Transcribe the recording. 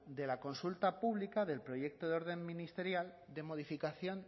de la consulta pública del proyecto de orden ministerial de modificación